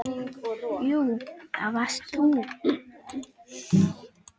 Jú, það varst þú.